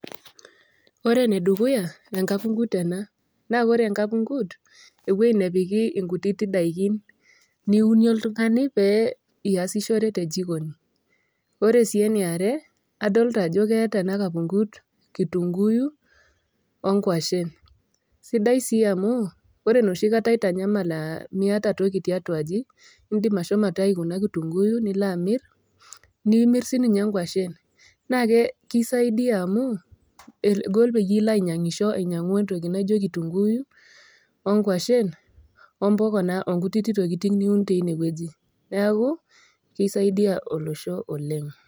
Ore ene dukuya enkapung'ut ena naa ore enkapung'ut ewueji napiki inkutitik daikin niunie oltung'ani pee iasishore te jikooni. Ore sii ene are adolita ajo keata ena kapung'ut kitunguyu o inkwashen. Sidai sii amu, ore nooshi kata otanyamala Miata toki tiatua aji, indim ashomo aitayu ena kitunguyu nilo aamir, nimir siininye inkwashen. Naake keisaidia amu egol peyie ilo ainyang'isho ainyang'u entoki naijo kitunguyu o nkwashen o impoka naa o nkutiti tokitin niun teine wueji, neaku keisaidia olosho oleng'.